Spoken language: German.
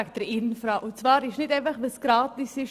Es trifft nicht zu, dass nichts wert ist, was gratis ist.